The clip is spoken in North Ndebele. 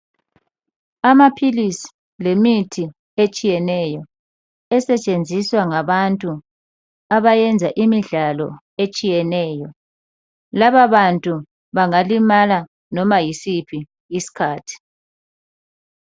Amaphilisi lemithi etshiyeneyo esetshenziswa ngabantu abayenza imidlalo etshiyeneyo. Laba bantu bangalimala noma yisiphi isikhathi